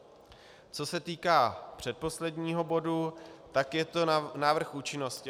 Co se týká předposledního bodu, tak je to návrh účinnosti.